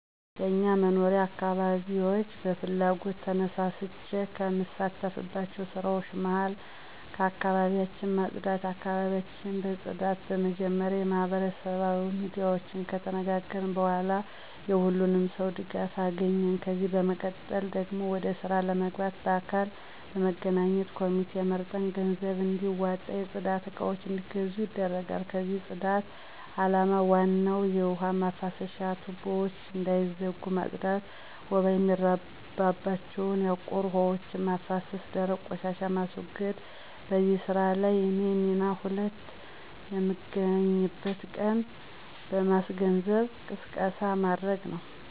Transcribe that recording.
በእኛ መኖሪያ አካባቢያች በፍላጎት ተነሳስቸ ከምሳተፍባቸው ስራወች መሀከል አካባቢያች ማፅዳት ነው። አካባቢያችን ለማፅዳት በመጀመሪያ በማህበራዊ ሚዲያወች ከተነጋገርን በኋላ የሁሉንም ሰው ድጋፍ አገኘን፤ ከዚህም በመቀጠል ደግሞ ወደ ስራ ለመግባት በአካል በመገናኘት ኮሚቴ መርጠን ገንዘብም እንዲዋጣና የፅዳት እቃወች አንዲገዙ ይደረጋል። የዚህ ማፅዳት አላማ በዋናነት የውሀ ማፍሰሻ ቱቦወች እንዳይዘጉ ማፅዳት፣ ወባ የሚራባቸው ያቆሩ ውሀወችን ማፍሰስ፣ ደረቅ ቆሻሻን ማስወገድ። በዚህ ስራ ላይ የኔ ሚና ሁሌም የምንገናኝበትን ቀን ማስገንዘብና ቅስቀሳ ማድረግ ነው።